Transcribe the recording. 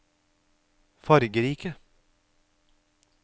fargerike